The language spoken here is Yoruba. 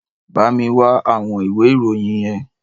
Bá mi wá àwọn ìwé ìròyìn yẹn